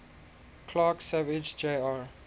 clark savage jr